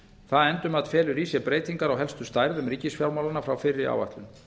það endurmat felur í sér breytingar á helstu stærðum ríkisfjármálanna frá fyrri áætlun